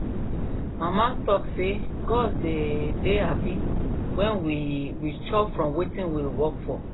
mama talk say gods dey dey happy when we we chop from wetin we work for